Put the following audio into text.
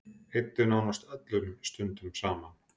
Eyddum nánast öllum stundum saman.